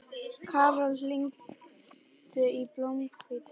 Karol, hringdu í Blómhvíti.